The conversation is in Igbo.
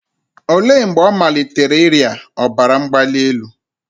Olee mgbe ọ malitere ịrịa ọbara mgbali elu?